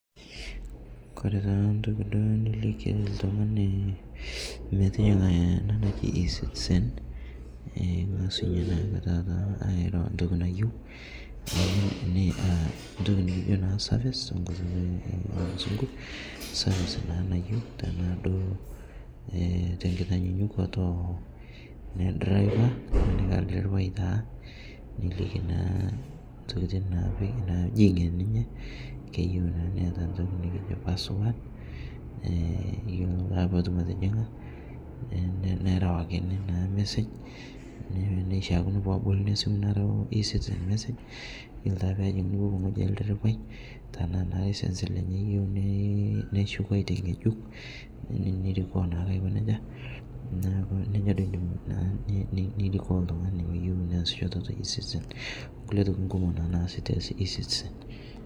Ore entoki naliki oltung'ani metijinga ena naji ecitizen natum entoki service nayieu tenaa tenkinyakuta ene driver nilikii naa ntokitin najing enenye keyieu netaa entoki najii password petum atijinga nerewakini naa massage nerewakini ore pee ejing enewueji olderevai tenaa license eyieu ng'ejuk nerikoo naa nejia naa nejia naa enko tenirikoo oltung'ani tee ecitizen oo nkulie oitoi nasisho tee ecitizen